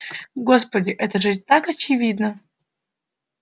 господи это же так очевидно